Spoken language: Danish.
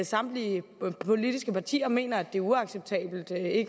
samtlige politiske partier mener at det er uacceptabelt at